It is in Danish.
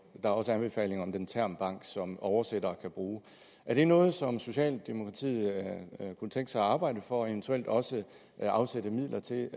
er også anbefalinger om en termbank som oversættere kan bruge er det noget som socialdemokratiet kunne tænke sig at arbejde for og eventuelt også afsætte midler til